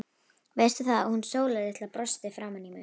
Veistu það, að hún Sóla litla brosti framan í mig.